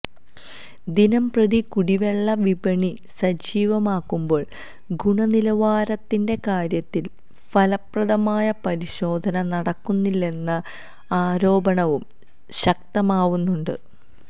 ദിനംപ്രതി കുടിവെള്ള വിപണി സജീവമാകുമ്പോള് ഗുണനിലവാരത്തിന്റെ കാര്യത്തില് ഫലപ്രദമായ പരിശോധന നടക്കുന്നില്ലെന്ന ആരോപണവും ശക്തമാവുന്നുണ്ട്